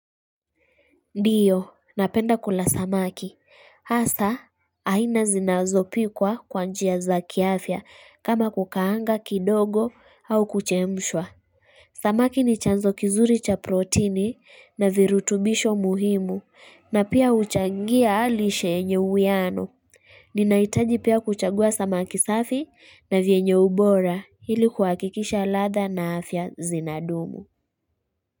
Ndiyo, napenda kula samaki. Asa, aina zinazopikwa kwanjia za kiafya kama kukaanga kidogo au kuchemshwa. Samaki ni chanzo kizuri cha protini na virutubisho muhimu na pia uchangia lishe yenye uwiano. Ninaitaji pia kuchagua samaki safi na vienye ubora hili kuakikisha latha na afya zinadumu.